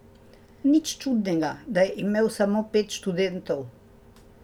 Nič čudnega, da je imel samo pet študentov.